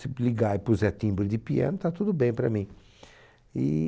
Se p ligar e puser timbre de piano, está tudo bem para mim. E...